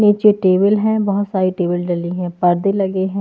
नीचे टेबल है बहुत सारी टेबल डली है पर्दे लगे हैं।